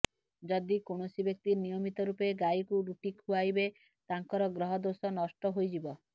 ଯଦି କୌଣସି ବ୍ୟକ୍ତି ନିୟମିତ ରୂପେ ଗାଈକୁ ରୁଟି ଖୁଆଇବେ ତାଙ୍କର ଗ୍ରହ ଦୋଷ ନଷ୍ଟ ହୋଇଯିବ